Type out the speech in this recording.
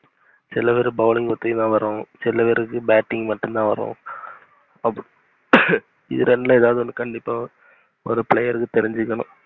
சில பேர் bowling மட்டும் தான் வரும் சில பேருக்கு batting மட்டும் தான் வரும் இது ரெண்டுல எதாவது ஒன்னு கண்டிப்பா ஒரு player க்கு தெரிஞ்சுருக்கனும்.